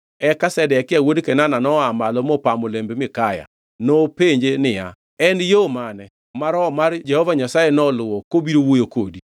Eka Zedekia wuod Kenana noa malo mopamo lemb Mikaya. Nopenje niya, “En yo mane ma Roho mar Jehova Nyasaye noluwo kobiro wuoyo kodi?”